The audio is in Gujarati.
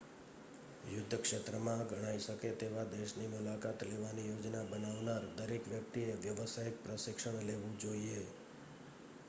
યુદ્ધ ક્ષેત્રમાં ગણાઈ શકે તેવા દેશની મુલાકાત લેવાની યોજના બનાવનાર દરેક વ્યક્તિએ વ્યાવસાયિક પ્રશિક્ષણ લેવું જોઈએ